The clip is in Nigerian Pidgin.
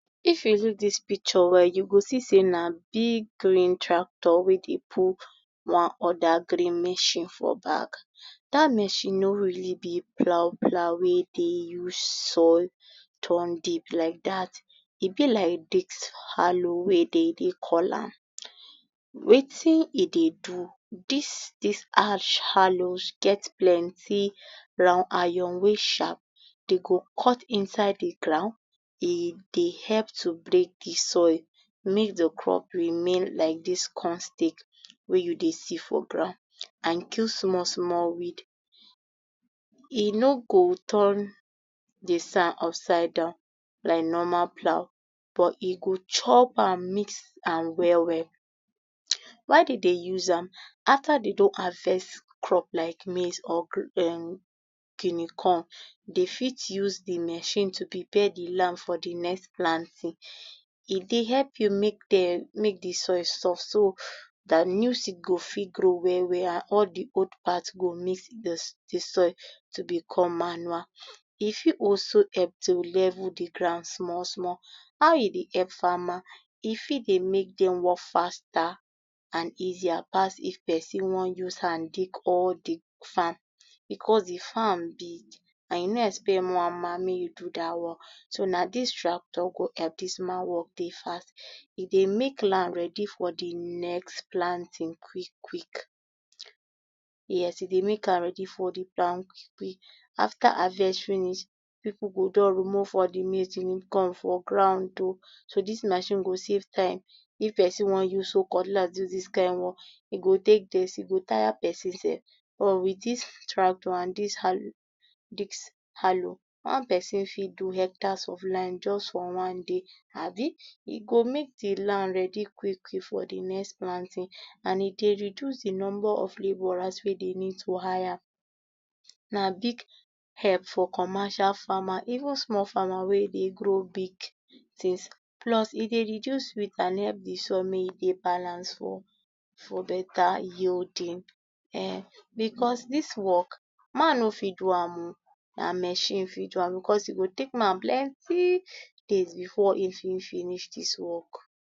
If you look dis picture well you go see sey na big green tractor wey dey pull one other green machine for back dat machine nor really be plough plough wey dey use soil turn deep like dat e be like disc hallow wey dem dey call am wetin dem dey do dis disc harsh hollow get plenty plough iron wey sharp dem go cut inside de ground dey dey help to break de soil make de crop remain like dis corn stead wey you see for ground and dis small small weed e nor go turn dey sand up side down like normal plough but e chop am mix am well well. Why dem dey use am after dem don harvest crop like maize or um guinea corn dem fit use de machine to prepare de land for de next planting e dey help you make dey soil soft so dat new seed go fit grow well well and all de old part go mix um de soil to be come manure e fit also help to level de ground small small. How e dey help farmer e fit dey make dem work faster and easier pass if person wan use hand dig all de farm because de farm big and you nor expect one man make e do dat work so na dis tractor go help dis man work dey fast e dey make land ready for de next planting quick quick yes e dey make ready for de um after harvesting it pipu go don remove all de maize wey dey for ground oh so dis machine go save time if person wan use hoe cutlass do dis kind work e go take days e go tire person self but with dis tractor and dis hollow disc hollow one person fit do hectares of land just for one day abi e go make de land ready quick quick for de next planting and e de reduce de number of labourers you need to hire na big help for commercial farmer even small farmer wey dey grow big things plus e dey reduce weed allow de soil make e dey balance for better yielding um because dis work man nor fit do oh na machine fit do am because e take man plenty days before e fit finish dis work.